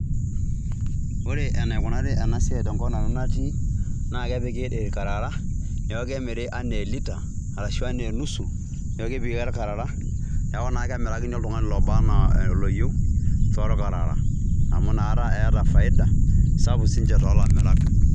Ore enaikunari ena siai tenkop nanu natii, naa kepiki il`karara, neaku kemiri enaa elita, arashu enaa enusu, neaku kepiki ake il`karara, neaku naa kemirakini oltung'ani oba enaa oloyieu, tool`karara. Amu inakata eeta faida sapuk siinche toolamirak